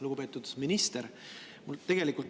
Lugupeetud minister!